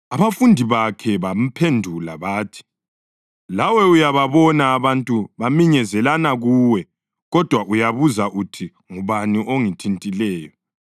Abafundi bakhe bamphendula bathi, “Lawe uyababona abantu beminyezelana kuwe, kodwa uyabuza uthi, ‘Ngubani ongithintileyo?’ ”